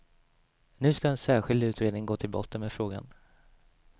Nu ska en särskild utredning gå till botten med frågan.